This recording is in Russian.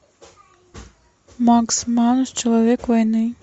макс манус человек войны